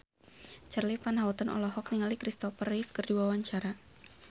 Charly Van Houten olohok ningali Christopher Reeve keur diwawancara